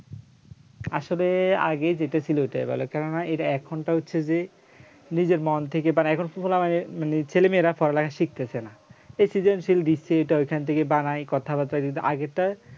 আসলে আগে যেটা ছিল ওটাই ভালো কেননা এটা এখন টা হচ্ছে যে নিজের মন থেকে বানায় এখন পুরো মানে ছেলে মেয়েরা পড়ালেখা শিখতেছে না এই সৃজনশীল দিচ্ছে এটা ওখান থেকে বানায় কথাবার্তা যদি আগেরটা